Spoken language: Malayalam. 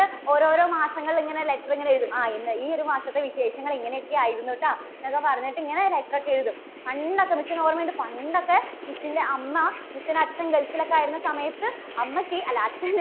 ഓരോരോ മാസങ്ങൾ ഇങ്ങനെ letter ഇങ്ങനെ ഇടും. ആ ഇന്ന ഈ ഒരു മാസത്തെ വിശേഷങ്ങൾ ഇങ്ങനെയൊക്കെ ആയിരുന്നു കേട്ടോ. എന്നൊക്കെ പറഞ്ഞിട്ട് ഇങ്ങനെ letter ഒക്കെ എഴുതും. പണ്ടൊക്കെ, miss ന് ഓർമ്മയുണ്ട്, പണ്ടൊക്കെ miss ന്റെ അമ്മ miss ന്റെ അച്ഛൻ gulf ൽ ഒക്കെ ആയിരുന്ന സമയത്ത് അമ്മയ്ക്ക് അല്ല അച്ഛന്